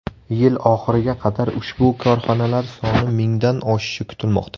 Yil oxiriga qadar ushbu korxonalar soni mingdan oshishi kutilmoqda.